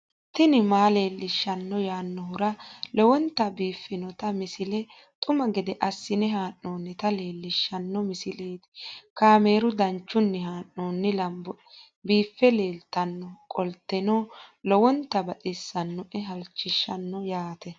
tini maa leelishshanno yaannohura lowonta biiffanota misile xuma gede assine haa'noonnita leellishshanno misileeti kaameru danchunni haa'noonni lamboe biiffe leeeltannoqolten lowonta baxissannoe halchishshanno yaate